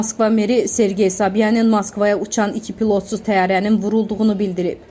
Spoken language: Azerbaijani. Moskva meri Sergey Sobyanin Moskvaya uçan iki pilotsuz təyyarənin vurulduğunu bildirib.